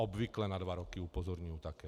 Obvykle na dva roky, upozorňuji také.